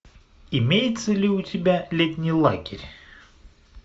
имеется ли у тебя летний лагерь